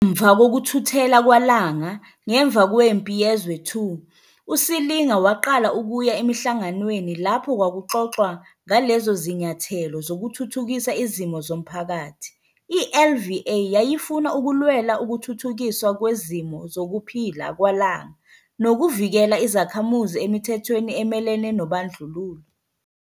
Ngemva kokuthuthela kwaLanga, ngemva kweMpi Yezwe II, uSilinga waqala ukuya emihlanganweni lapho kwakuxoxwa ngalezo zinyathelo zokuthuthukisa izimo zomphakathi. I-LVA yayifuna ukulwela ukuthuthukiswa kwezimo zokuphila kwaLanga nokuvikela izakhamuzi emithethweni emelene nobandlululo.